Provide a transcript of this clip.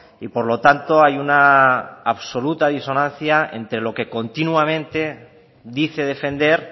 y por lo tanto hay una absoluta disonancia entre lo que continuamente dice defender